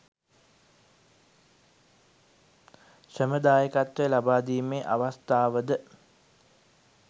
ශ්‍රම දායකත්වය ලබාදීමේ අවස්ථාවද